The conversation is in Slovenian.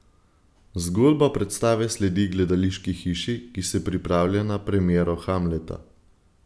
Zgodba predstave sledi gledališki hiši, ki se pripravlja na premiero Hamleta.